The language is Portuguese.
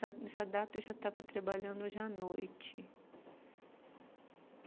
Nessa data, eu já estava trabalhando hoje à noite.